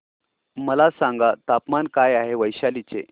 मला सांगा तापमान काय आहे वैशाली चे